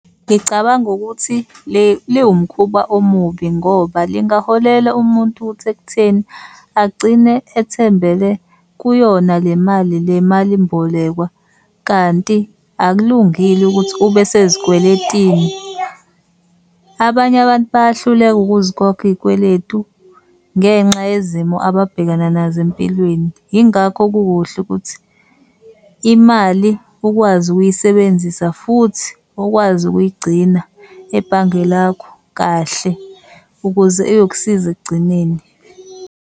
Ngicabanga ukuthi liwumkhuba omubi ngoba lingaholela umuntu ukuthi ekutheni agcine ethembele kuyona le mali le malimbolekwa, kanti akulungile ukuthi ube sezikweletini. Abanye abantu bayahluleka ukuzikhokha izikweletu ngenxa yezimo ababhekana nazo empilweni. Yingakho kukuhle ukuthi imali ukwazi ukuyisebenzisa futhi ukwazi ukuyigcina ebhange lakho kahle ukuze iyokusiza ekugcineni.